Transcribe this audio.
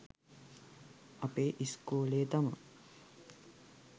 අපේ ඉස්කෝලේ තමා